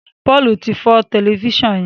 Paul tí fọ Tẹlifísàn yén.